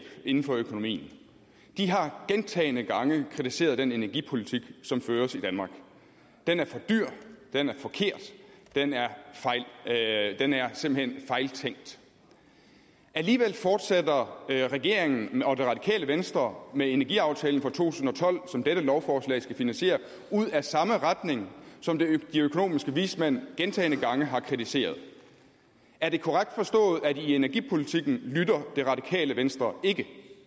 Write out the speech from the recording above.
inden for økonomien de har gentagne gange kritiseret den energipolitik som føres i danmark den er for dyr den er forkert den er simpelt hen fejltænkt alligevel fortsætter regeringen og det radikale venstre med energiaftalen fra to tusind og tolv som dette lovforslag skal finansiere ud ad samme retning som de økonomiske vismænd gentagne gange har kritiseret er det korrekt forstået at i energipolitikken lytter det radikale venstre ikke